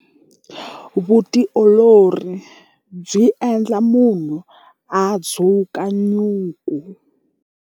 Vutiolori byi endla munhu a dzuka nyuku.